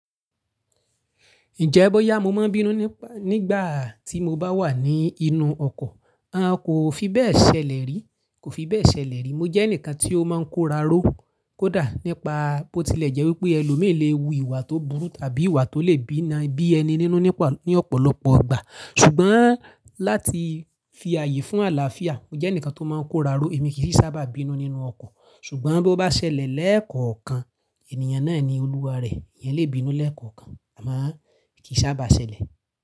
Ǹjẹ́ bóyá mo máa ń bínú nígbà tí mo bá wà nínú ọkọ̀, a kò fi bẹ́ẹ̀ ṣẹlẹ̀ rí, kò fi bẹ́ẹ̀ ṣẹlẹ̀ rí. Mo jẹ́ ẹnìkan tí ó máa ń kóraró kódà nípa bó tilẹ̀ jẹ́ wípé ẹlòmíì léwu ìwà tó burú tàbí ìwà tó lè bína bí ẹni nínú ní ọ̀pọ̀lọpọ̀ ìgbà. Ṣùgbọ́n láti fi ààyè fún àlàáfíà, mo jẹ́ ẹnìkan tó máa ń kóraró, èmi kì í sábà bínú nínú ọkọ̀. Ṣùgbọ́n bó bá ṣẹlẹ̀ lẹ́ẹ̀kọ̀ọ̀kan, ènìyàn náà ni olúwa rẹ̀, ìyẹn lè bínú lẹ́ẹ̀kọ̀ọ̀kan, àmọ́ kì í sábà ṣẹlẹ̀.